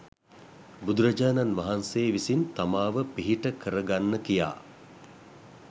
බුදුරජාණන් වහන්සේ විසින් තමාව පිහිට කරගන්න කියා